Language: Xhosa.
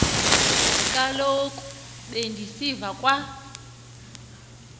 kaloku bendisiva kwa